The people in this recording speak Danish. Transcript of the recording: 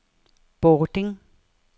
Bording